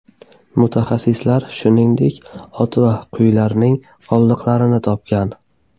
Mutaxassislar shuningdek ot va qo‘ylarning qoldiqlarini ham topgan.